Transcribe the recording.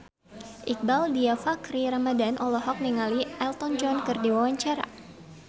Iqbaal Dhiafakhri Ramadhan olohok ningali Elton John keur diwawancara